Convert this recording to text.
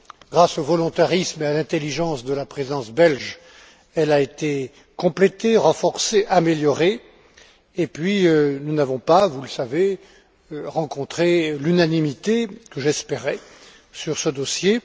Grâce au volontarisme et à l'intelligence de la Présidence belge, elle a été complétée, renforcée, améliorée, et nous n'avons pas vous le savez rencontré l'unanimité que j'espérais sur ce dossier.